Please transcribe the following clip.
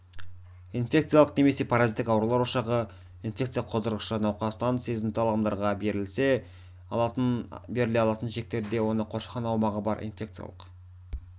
инфекциялық немесе паразиттік аурулар ошағы инфекция қоздырғышы науқастан сезімтал адамдарға беріле алатын шектерде оны қоршаған аумағы бар инфекциялық